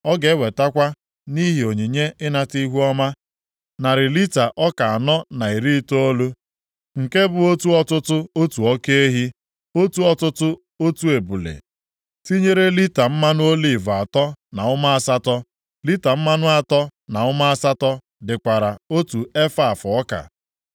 Ọ ga-ewetakwa nʼihi onyinye ịnata ihuọma, narị lita ọka anọ na iri itoolu, + 45:24 Nha otu ọtụtụ efaf nke bụ otu ọtụtụ otu oke ehi, otu ọtụtụ otu ebule. Tinyere lita mmanụ oliv atọ na ụma asatọ. Lita mmanụ atọ na ụma asatọ dịkwara otu efaf ọka.